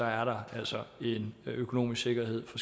er der altså en økonomisk sikkerhed for